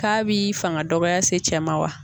K'a b'i fanga dɔgɔya se cɛ ma wa?